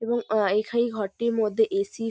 এবং অ এখা এই ঘরটির মধ্যে এ.সি. --